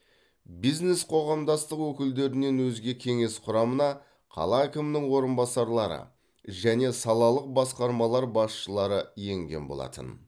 бизнес қоғамдастық өкілдерінен өзге кеңес құрамына қала әкімінің орынбасарлары және салалық басқармалар басшылары енген болатын